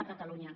a catalunya